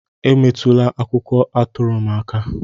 Emetụla akwụkwọ atụrụ m aka!